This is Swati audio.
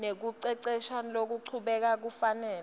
nekucecesha lokuchubekako kufanele